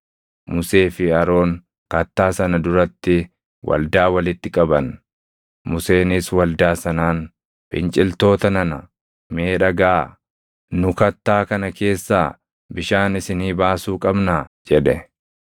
Musee fi Aroon kattaa sana duratti waldaa walitti qaban; Museenis waldaa sanaan, “Finciltoota nana, mee dhagaʼaa; nu kattaa kana keessaa bishaan isinii baasuu qabnaa?” jedhe.